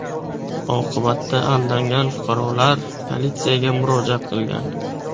Oqibatda aldangan fuqarolar politsiyaga murojaat qilgan.